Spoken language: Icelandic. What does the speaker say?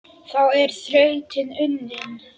Þá er þrautin unnin